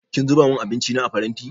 Kin zuba min abinci na a faranti?